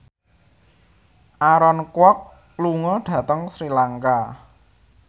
Aaron Kwok lunga dhateng Sri Lanka